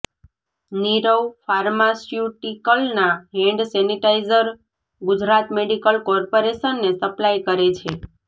નીરવ ફાર્માસ્યુટીકલના hand sanitiser Gujarat medical કોર્પોરેશનને supply કરે છે